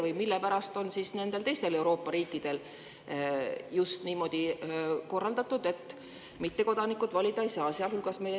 Või mille pärast on nendel teistel Euroopa riikidel see just niimoodi korraldatud, et mittekodanikud valida ei saa?